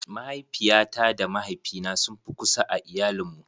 Mahaifiyata da mahaifina sun fi kusa a iayalin mu.